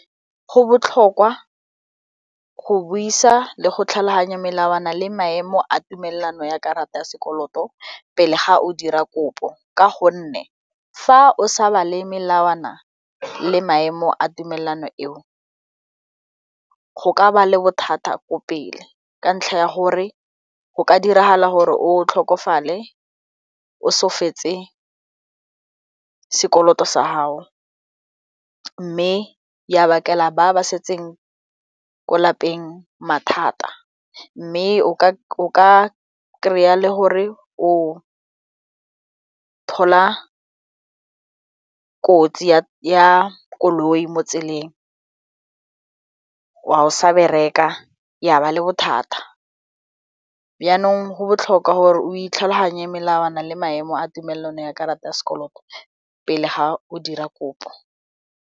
Go botlhokwa go buisa le go tlhaloganya melawana le maemo a tumelano ya karata ya sekoloto pele ga o dira kopo ka gonne fa o sa bale melawana le maemo a tumelano eo go ka ba le bothata ko pele ka ntlha ya gore go ka diragala gore o tlhokofale o so fetse sekoloto sa gao mme ya bakela ba ba setseng ko lapeng mathata mme o ka kry-a le gore o thola kotsi ya koloi mo tseleng a o sa bereka ya ba bothata yanong go botlhokwa gore o itlhaloganye melawana le maemo a tumelano ya karata ya sekoloto pele ga o dira kopo.